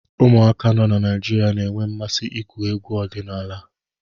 Ụmụaka nọ na Naịjirịa na-enwe mmasị n'igwu egwuregwu ọdịnala.